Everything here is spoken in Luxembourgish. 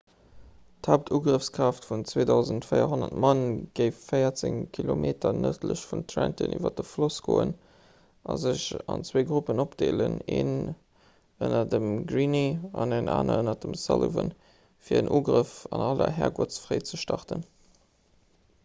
d'haaptugrëffskraaft vun 2 400 mann géif véierzéng kilometer nërdlech vun trenton iwwer de floss goen a sech dann an zwee gruppen opdeelen een ënner dem greene an een ënner dem sullivan fir en ugrëff an aller herrgottsfréi ze starten